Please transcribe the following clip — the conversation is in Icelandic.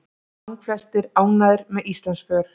Langflestir ánægðir með Íslandsför